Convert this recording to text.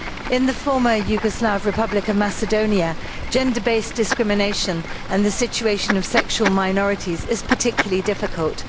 In the former Yugoslav Republic of Macedonia, gender based discrimination and the situation of sexual minorities is particularly difficult.